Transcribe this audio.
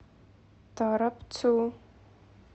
торопцу